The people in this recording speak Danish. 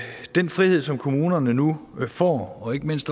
den frihed som kommunerne nu får og ikke mindst